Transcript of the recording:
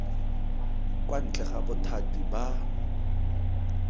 kwa ntle ga bothati ba